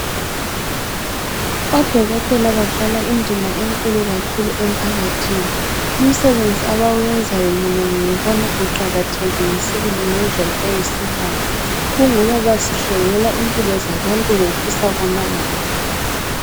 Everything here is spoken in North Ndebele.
Odokotela badlala indima enkulu kakhulu emphakathini. Umsebenzi abawenzayo, mina ngiwubona uqakathekile sibili, ngendlela eyisimanga. Kungoba basinhlengela impilo zabantu ngokusa kwamalanga.